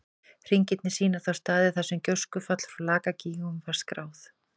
Hringirnir sýna þá staði þar sem gjóskufall frá Lakagígum var skráð.